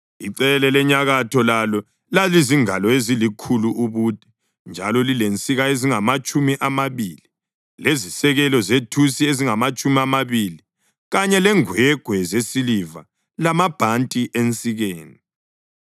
Icele lenyakatho lalo lalizingalo ezilikhulu ubude njalo lilensika ezingamatshumi amabili, lezisekelo zethusi ezingamatshumi amabili, kanye lengwegwe zesiliva lamabhanti ensikeni.